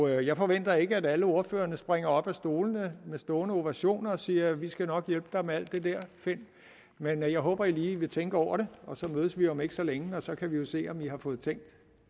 jeg forventer ikke at alle ordførerne springer op af stolene og under stående ovationer siger vi skal nok hjælpe dig med alt det der finn men jeg håber at man lige vil tænke over det og så mødes vi om ikke så længe og så kan vi jo se om man har fået